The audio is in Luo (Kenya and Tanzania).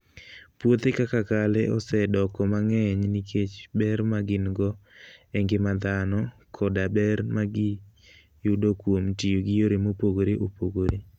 Puothe kaka kale osedoko mang'eny nikech ber ma gin - go e ngima dhano koda ber ma giyudo kuom tiyo gi yore mopogore opogore.